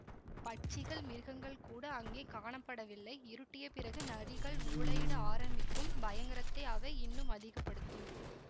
பட்சிகள் மிருகங்கள் கூட அங்கே காணப்படவில்லை இருட்டிய பிறகு நரிகள் ஊளையிட ஆரம்பிக்கும் பயங்கரத்தை அவை இன்னும் அதிக படுத்தும்